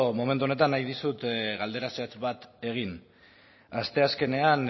momentu honetan nahi dizut galdera zehatz bat egin asteazkenean